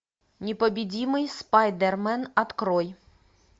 непобедимый спайдермен открой